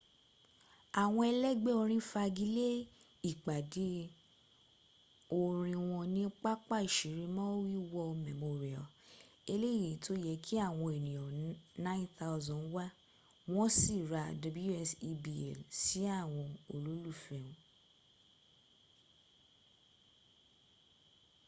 àwọn ẹlẹ́gbẹ́ orin fagilé ìpàdé orin wọ́n ní pápá ìṣeré maui war memorial eléyìí tó yẹ kí àwọn ènìyàn 9000 wá wọ́n sí rá ws ẹ̀bl sí àwọn olólùfẹ́ wọn